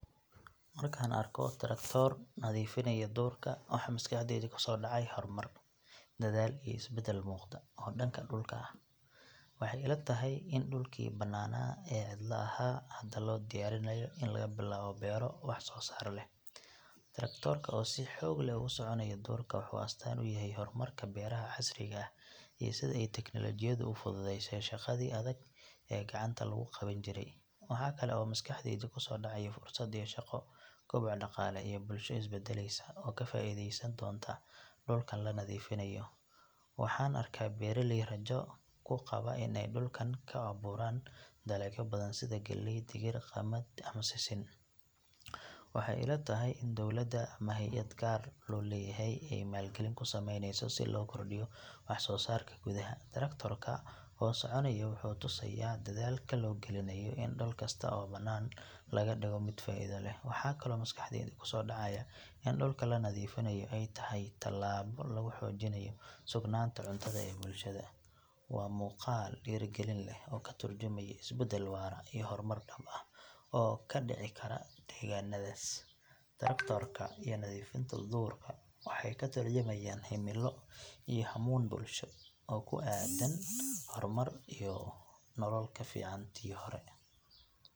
Marka aan arko taraktoor nadiifinaya duurka waxa maskaxdayda kusoo dhacaya horumar, dadaal iyo isbedel muuqda oo dhanka dhulka ah. Waxay ila tahay in dhulkii bannaanaa ee cidla ahaa hadda loo diyaarinayo in laga bilaabo beero wax soo saar leh. Taraktoorka oo si xoog leh ugu soconaya duurka wuxuu astaan u yahay horumarka beeraha casriga ah iyo sida ay teknolojiyaddu u fududeysay shaqadii adag ee gacanta lagu qaban jiray. Waxa kale oo maskaxdayda kusoo dhacaya fursado shaqo, koboc dhaqaale iyo bulsho isbeddelaysa oo ka faa’iideysan doonta dhulkan la nadiifinayo. Waxaan arkaa beeraley rajo ku qaba in ay dhulkan ka abuuraan dalagyo badan sida galley, digir, qamad ama sisin. Waxay ila tahay in dawladda ama hay’ad gaar loo leeyahay ay maalgelin ku sameyneyso si loo kordhiyo wax soo saarka gudaha. Taraktoorka oo soconaya wuxuu tusayaa dadaalka loo gelinayo in dhul kasta oo bannaan laga dhigo mid faa’iido leh. Waxaa kaloo maskaxdayda kusoo dhacaya in dhulka la nadiifinayo ay tahay talaabo lagu xoojinayo sugnaanta cuntada ee bulshada. Waa muuqaal dhiirigelin leh oo ka turjumaya isbedel waara iyo horumar dhab ah oo ka dhici kara deegaannadaas. Taraktoorka iyo nadiifinta duurka waxay ka tarjumayaan himilo iyo hammuun bulsho oo ku aaddan horumar iyo nolol ka fiican tii hore.